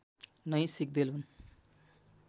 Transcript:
नै सिग्देल हुन्